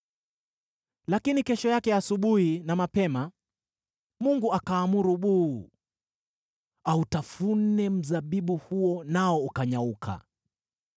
Lakini kesho yake asubuhi na mapema Mungu akaamuru buu, autafune mzabibu huo nao ukanyauka.